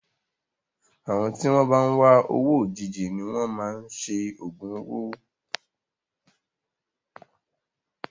Àwọn tí wọn bá ń wá owó òjijì ni wọn máa ń ṣe ògùn owó.